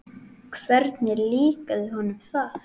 Hvernig líkaði honum það?